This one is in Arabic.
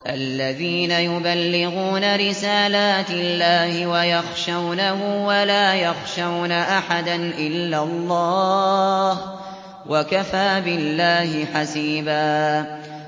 الَّذِينَ يُبَلِّغُونَ رِسَالَاتِ اللَّهِ وَيَخْشَوْنَهُ وَلَا يَخْشَوْنَ أَحَدًا إِلَّا اللَّهَ ۗ وَكَفَىٰ بِاللَّهِ حَسِيبًا